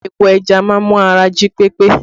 Epo ẹja má ń mú ara jí pé pé